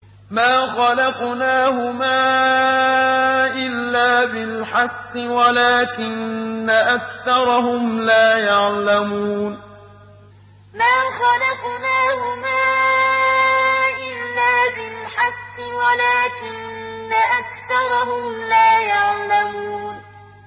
مَا خَلَقْنَاهُمَا إِلَّا بِالْحَقِّ وَلَٰكِنَّ أَكْثَرَهُمْ لَا يَعْلَمُونَ مَا خَلَقْنَاهُمَا إِلَّا بِالْحَقِّ وَلَٰكِنَّ أَكْثَرَهُمْ لَا يَعْلَمُونَ